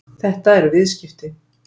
Þetta eru viðskipti.